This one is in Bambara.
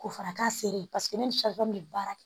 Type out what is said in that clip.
Ko fara k'a seri paseke ne ni bɛ baara kɛ